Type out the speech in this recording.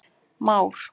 Már